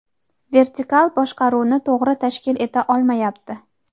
vertikal boshqaruvni to‘g‘ri tashkil eta olmayapti.